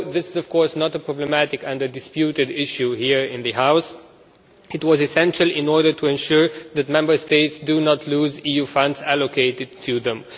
Although this is not a problematic or disputed issue here in this House, it was essential in order to ensure that Member States do not lose EU funds allocated to them.